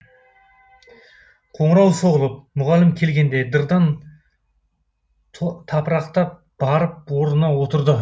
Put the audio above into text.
қоңырау соғылып мұғалім келгенде дырдан тапырақтап барып орнына отырды